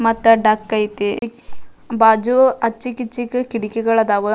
ಮತ್ತ ಡಕ್ ಐತಿ ಬಾಜು ಆಚೆ ಈಚೆಗ ಕಿಟಕಿಗಳು ಅದಾವ.